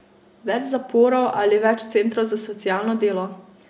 Več zaporov ali več centrov za socialno delo?